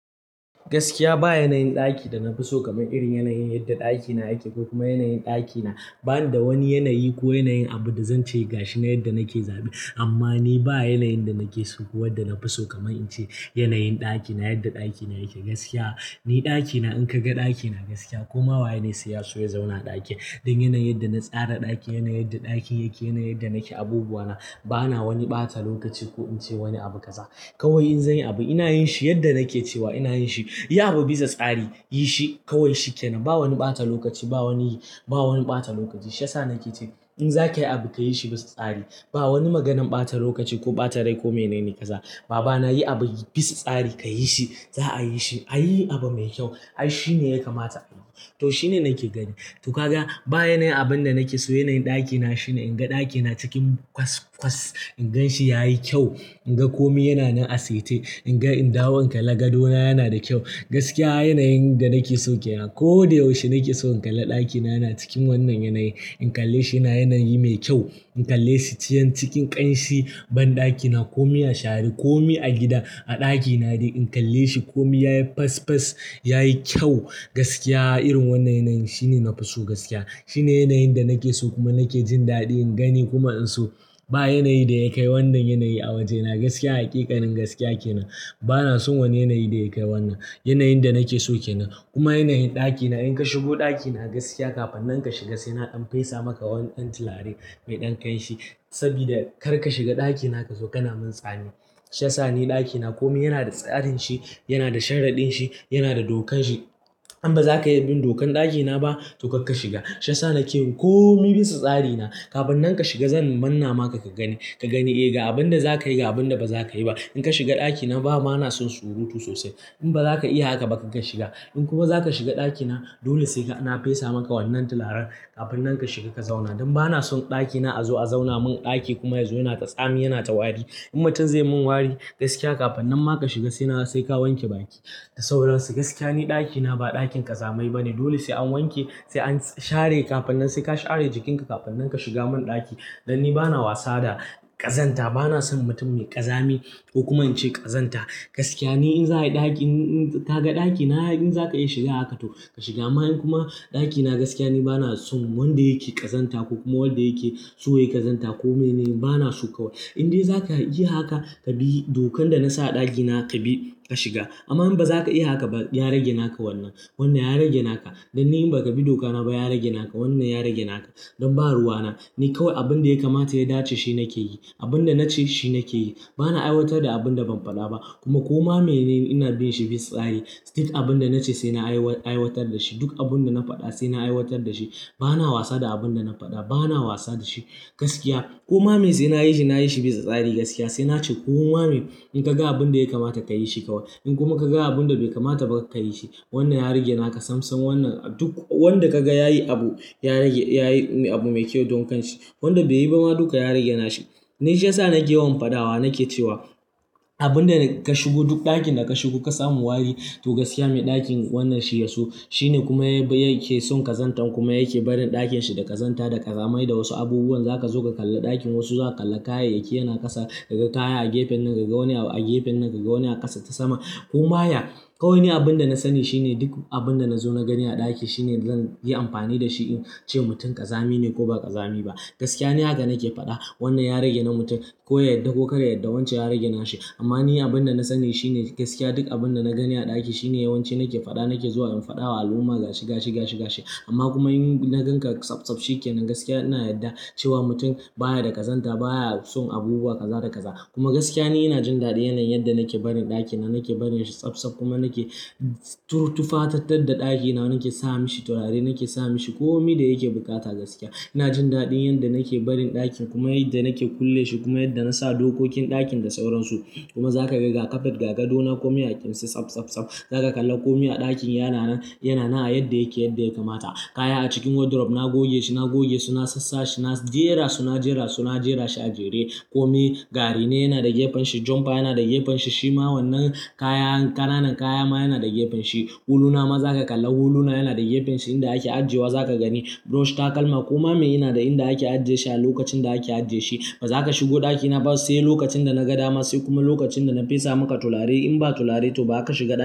Gaskiya ba yanayin ɗaki da na fi so kamar irin yanayin yadda ɗakina yake ko kuma yanayin ɗakina. Ba ni da wani yanayi ko yanayin abu da zan ce ga shi na yadda nake zaɓi. Amma ni ba yanayin da nake so ko wadda na fi so kamar in ce yanayin ɗakina, yadda ɗakina yake. Gaskiya, ni ɗakina in ka ga ɗakina gaskiya koma waye ne sai ya so ya zauna ɗakin. Don yanayin yadda na tsara ɗaki, yanayin yadda ɗakin yake, yanayin yadda nake abubuwana. Ba na wani ɓata lokaci ko in ce wani abu kaza. Kawai in zanyi abu ina yin shi yadda nake cewa ina yin shi. Yi abu bisa tsari, yi shi kawai shi kenan. Ba wani ɓata lokaci, ba wani, ba wani ɓata lokaci. Shi ya sa nake ce in zaka yi abu ka yi shi bisa tsari. Ba wani maganan batan lokaci ko batan rai ko menene kaza babana yi abu bi tsari ka yi shi za a yi shi a yi abu mai kyau, ai shi ne ya kamata a yi. To shi ne nake gani. To ka ga ba yanayin abun da nake so. Yanayin ɗakina shine in ga ɗakina cikin kwas kwas. In gan shi ya yi kyau, in ga kome yana nan a saitai. In ga in dawa in kalla gado na yana da kyau. Gaskiya yanayin da nake so kenan. Ko da yaushe nake so in kalla ɗakina yana cikin wannan yanayi. In kalle shi yana yanayi mai kyau. In kalle shi ciyan cikin ƙanshi banɗakina komi ya shari, komi a gida a ɗaki na dai in kalle shi komi ya yi fas fas ya yi kyau. Gaskiya irin wannan yanayin shine na fi so gaskiya. Shine yanayin da nake so kuma nake jin daɗi in gani kuma in so. Ba yanayi da ya kai wannan yanayi a waje na gaskiya. Hakikanin gaskiya kenan. Ba na son wani yanayi da ya kai wannan. Yanayin da nake so kenan. Kuma yanayin ɗakina in ka shigo ɗakina gaskiya kafin nan ka shiga sai na dan fesa maka wani ɗan tilarai mai ɗan ƙanshi. Saboda kar ka shiga ɗakina ka zo kana min tsami. Shi ya sa ni ɗakina komi yana da tsarin shi, yana da sharaɗin shi, yana da dokan shi. In ba za ka iya bin dokan ɗakina ba to kar ka shiga. Shi ya sa nake komi bisan tsari na kafin nan ka shiga zan mana maka ka gani. Ka gani ai ga abin da za ka yi ga abin da ba za ka yi ba in ka shiga ɗakina ba ma na son surutu sosai. In ba za ka iya haka ba kar ka shiga. In kuma za ka shiga ɗakina dole sai ka, na fesa maka wannan tilarar kafin nan ka shiga ka zauna. Don ba na son ɗakina a zo a zauna mun ɗaki kuma ya zo yana ta tsami yana ta wari. Mutum zai mun wari gaskiya kafin nan ma ka shiga sai na sai ka wanke baki ka da sauransu. Gaskiya ni ɗakina ba ɗakin ƙazamai ba ne. Dole sai an wanke sai an share kafin nan sai ka share jikinka kafin nan ka shiga mun ɗaki. Don ni ba na wasa da ƙazanta. Ba na son mutum mai ƙazami ko kuma in ce ƙazanta. Gaskiya ni in za ayi ɗaki, in ka ga ɗakina in zaka iya shiga haka to ka shiga. Amma in kuma ɗakina gaskiya ni ba na son wanda yake ƙazanta ko kuma wanda yake so ya ƙazanta ko mai ne ba na so kawai. In dai za ka iya haka ka bi dokan da na sa a ɗakina ka bi ka shiga. Amma in ba za ka iya haka ba ya rage naka wannan. Wannan ya rage naka. Don ni in ba ka bi dokana ba ya rage naka. Wannan ya rage naka. Don ba ruwana. Ni kawai abin da ya kamata ya dace shi nake yi. Abin da na ce shi nake yi. Ba na aiwatar da abin da ban faɗa ba. Kuma koma mai ne ina bin shi bisa tsari. Duk abin da na ce sai na aiwatar da shi. Duk abin da na faɗa sai na aiwatar da shi. Ba na wasa da abin da na faɗa. Ba na wasa da shi gaskiya. Koma mai sai nayi shi nayi shi bisa tsari gaskiya. Sai na ce koma mai in ka ga abin da ya kamata ta yi shi kawai. In kuma ka ga abin da bai kamata ba kar ka yi shi. Wannan ya rage naka. Sam sam wannan duk wanda ka ga ya yi abu, ya rage, ya yi abu mai kyau don kanshi. Wanda bai yi ba ma duka ya rage nasa. Ni shi ya sa nake yawan faɗawa nake cewa abin da ka shigo duk ɗakin da ka shigo ka samu wari to gaskiya mai ɗakin wannan shi ya so. Shine kuma yake son ƙazantan kuma yake barin ɗakin shi da ƙazanta da ƙazamai da wasu abubuwan. Za ka zo ka kalla ɗakin wasu za ka kalla kayayake yana ƙasa. Kaga kaya a gefen nan kaga wani a gefen nan kaga wani a ƙasa ta sama. Kuma ya, kawai ni abin da na sani shine duk abin da na zo na gani a ɗaki shine zan yi amfani da shi in ce mutum ƙazami ne ko ba ƙazami ba. Gaskiya ni haka nake faɗa. Wannan ya rage na mutum. Ko yadda ko karya yadda wancan ya rage na shi. Amma ni abin da na sani shine gaskiya duk abin da na gani a ɗaki shine yawanci nake faɗa nake zuwa in faɗa wa al'umma ga shi ga shi ga shi ga shi. Amma kuma in na gan ka tsabtsab shi kenan gaskiya ina yarda cewa mutum baya da ƙazanta baya son abubuwa ƙaza da ƙaza. Kuma gaskiya ni ina jin daɗin yanayin yanda nake barin ɗakina. Nake barin shi tsabtsab kuma nake turuttufatattar da ɗakina nake sa mishi turare nake sa mishi komi da yake bukata gaskiya. Ina jin daɗin yadda nake barin ɗakin kuma yadda nake kulle shi kuma yadda na sa dokokin ɗakin da sauransu. Kuma za ka ga ga kafet ga gado na komai a ƙinsa tsab tsab tsab. Za ka kalla komi a ɗakin yana nan, yana nan a yadda yake yadda ya kamata. Kaya a cikin wardrobe na goge shi na goge su na sassa shi na jera su na jera su na jera shi a jere. Komi gari ne yana da gefen shi, jomfa yana da gefen shi, shima wannan kaya ƙananan kaya ma yana da gefen shi. Huluna ma za ka kalla huluna yana da gefen shi inda ake ajiye wa za ka gani. Brush takalma koma mai yana da inda ake ajiye shi a lokacin da ake ajiye shi. Ba za ka shigo ɗakina ba sai lokacin da na ga dama sai kuma lokacin da na fesa maka tulare in ba tulare to ba ka shiga da.